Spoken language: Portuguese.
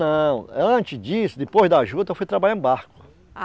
Não, antes disso, depois da juta, eu fui trabalhar em barco. ah